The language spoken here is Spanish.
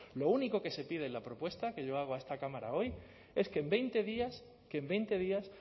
lo único que se pide en la propuesta que yo hago a esta cámara hoy es que en veinte días que en veinte días